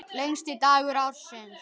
Lengsti dagur ársins.